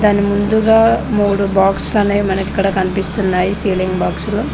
మన ముందుగా మూడు బాక్స్ లానేవి మనకి ఇక్కడ కనిపిస్తున్నాయి సీలింగ్ బాక్సులు .